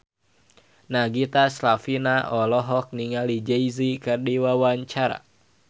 Nagita Slavina olohok ningali Jay Z keur diwawancara